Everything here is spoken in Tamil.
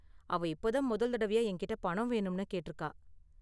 அவ இப்போ தான் முதல் தடவையா என்கிட்ட பணம் வேணும்னு கேட்டிருக்கா.